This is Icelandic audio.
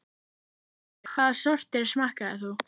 Sigríður: Hvaða sortir smakkaðir þú?